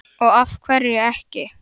Og af hverju ekki?